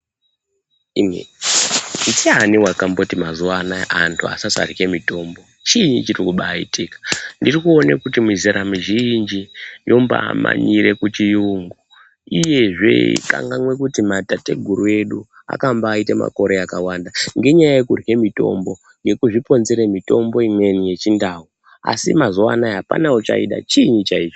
Ndiani wakati antu mazuwa anaya vasasarya mitombo. Chii chirubaitika. Ndirikuona kuti mizera mizhinji yombamanyire kuchiyungu uyezve yeikangwanwe kuti matateguru edu akambaite makore akawanda ngenyaya yekurye mitombo nekuzvioonzere mitombo imweni yechindau asi mazuwa anaya hapana uchaida chinyi chaicho.